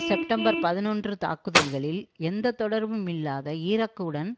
September பதினொன்று தாக்குதல்களில் எந்த தொடர்பும் இல்லாத ஈராக்குடன்